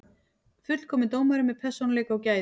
Fullkominn dómari með persónuleika og gæði.